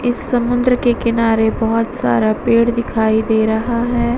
इस समुन्द्र के किनारे बहुत सारा पेड़ दिखाई दे रहा है।